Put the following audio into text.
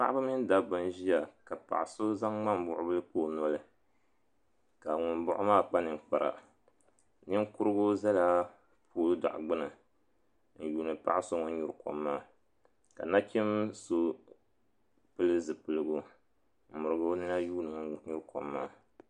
Paɣaba mini dabba n ʒiya ka paɣa so zaŋ ŋmambuɣubila n kpa o noli ka ŋun baɣi o maa kpa ninkpara ninkurigu zala pooli daɣu gbini n yuuni paɣa so ŋun nyuri kom maa ka nachin so pili zipilgu m mirigi o nina n yuuni ŋun nyuri kom maa.